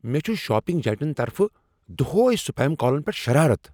مےٚ چُھ shopping giant طرفہٕ دۄہٕے سپیم کالن ییٹھ شرارت۔